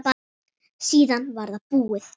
Síðan var það búið.